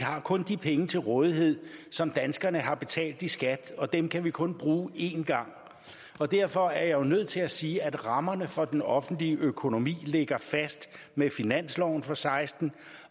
har kun de penge til rådighed som danskerne har betalt i skat og dem kan vi kun bruge en gang derfor er jeg jo nødt til at sige at rammerne for den offentlige økonomi ligger fast med finansloven for seksten